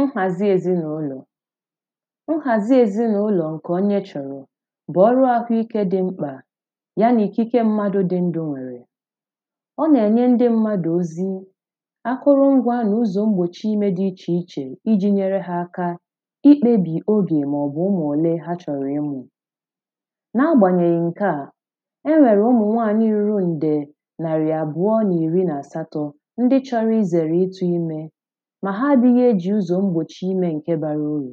nhazi ezinaụlọ̀ nhazi ezinaụlọ̀ nke onye chọrọ̀ bụ ọlụ ahụike dịmkpà ya na ikike mmadụ̀ dị ndụ̀ nwerē ọ na-enye ndị mmadụ̀ ozī akụru̇ngwa na uzọ mgbochi ime dị iche iche iji nyere ha aka ikpebi oge maọbụ̄ ụmụ ole ha chọrọ̀ na-agbanyeghi nke à e nwere ụmụnwaanyị ruru nde narị abụọ na iri na asatọ̄ ndị chọrọ izere ịtụ imē ma ha adīghị eji ụzọ mgbochi ime nké bara uru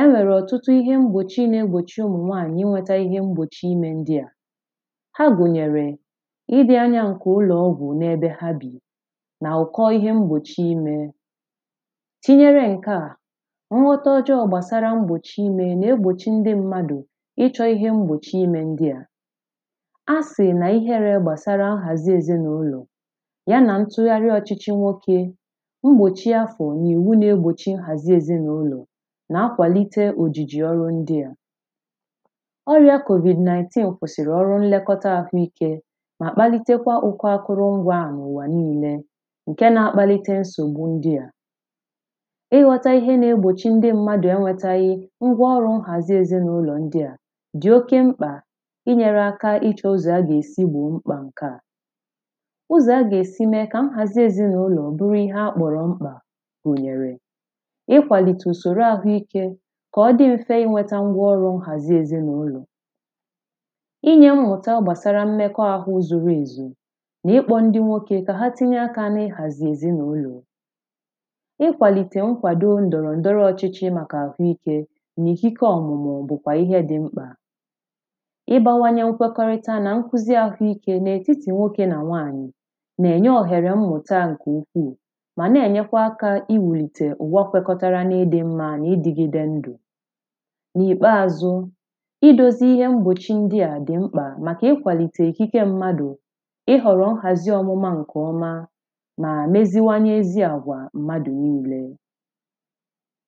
e nwere ọtụtụ ihe mgbochi na-egbochi ụmụnwaanyị̄ inwetà ihe mgbochi ime ndị à ha gụnyere ịdị anya nke ụlọɔ̣gwu na ebe ha bī na ụkọ ihe mgbochi imē tinyere nke à nghọta ọjọ gbasara ime na-egbochi ndị mmadụ̄ ịchọ ihe mgbochi ime ndị à a sị na ihere gbasara nhazi ezinaụlọ̀ ya na ntụgharị ọchịchị nwoke mgbochi afọ na iwu na-egbochi nhazi ezinaụlọ̀ na akwalite ojiji ọlụ ndị à ọri̇a Covid-19 kwụsịrị nlekota ahụike ma kpalitekwa ụkọ akụrụngwa a na ụwa niilē nke na-akpalite nsogbu ndị à ịghọtà ihe na-egbochi ndị mmadụ enwetaghī ngwaọrụ nhazi ezinaụlọ ndị̄ à dị oke mkpà inyere aka ịchọ uzọ aga esi gbo mkpa nke à ụzọ aga esi mee ka nhazi ezinaụlọ bụrụ ihe akpọrọ mkpa gunyere ikwalite usoro ahụike ka ọdị mfe inweta ngwaọrụ nhazi ezinaụlọ inye mmụta gbasara mmeko ahụ zuru ezu na ikpọ ndị nwoke ka ha tinye aka ihazi ezinaụlọ ikwalite nkwado ndọrọ ndọrọ ọchịchị maka ahụike na ikike ọmụmụ bụkwà ihe dịmkpà igbawanye nkwekọrịta na nkuzi ahụike na etiti nwoke na nwaanyị̀ na-enye ohere mmụta nke ukwuù ma na-enyekwa aka iwulite ụwa kwekọtara na idị mma na ịdịgide ndụ̄ na-ikpeazụ̄ idozi ihe mgbochi ndị a dịmkpa maka ikwalite ikike mmadụ̄ ịhọrọ nhazià ọmụma nke ọmā mara meziwanyezi agwa mmadụ̄ niilè